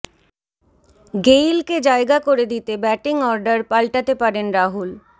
গেইলকে জায়গা করে দিতে ব্যাটিং অর্ডার পাল্টাতে পারেন রাহুল